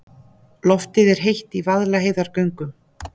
Loftið er heitt í Vaðlaheiðargöngum.